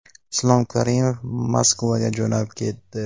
Islom Karimov Moskvaga jo‘nab ketdi.